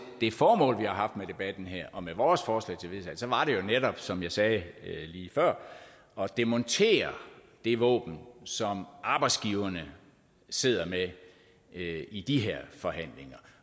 det formål vi har haft med debatten her og med vores forslag til vedtagelse har jo netop været som jeg sagde lige før at demontere det våben som arbejdsgiverne sidder med i de her forhandlinger